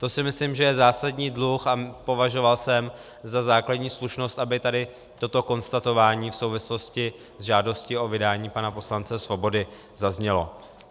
To si myslím, že je zásadní dluh, a považoval jsem za základní slušnost, aby tady toto konstatování v souvislosti se žádostí o vydání pana poslance Svobody zaznělo.